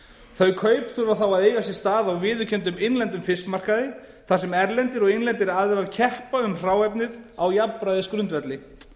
þau kaup þurfa þá að eiga sér stað á viðurkenndum innlendum fiskmarkaði þar sem erlendir og innlendir aðilar keppa um hráefnið á jafnræðisgrundvelli